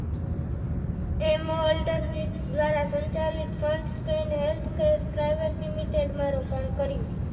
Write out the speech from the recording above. એમો. Holder with દ્વારાસંચાલિત સંસ્થા healthcare private limited માં રોકાણ કર્યું.